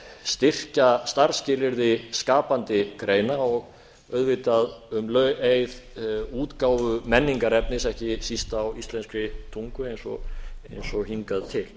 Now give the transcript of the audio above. styrkja starfsskilyrði skapandi greina og auðvitað um leið útgáfu menningarefnis ekki síst á íslenskri tungu eins og hingað til